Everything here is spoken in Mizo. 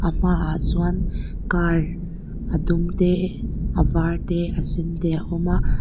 a hmaah chuan car a dum te a var te a sen te a awm a.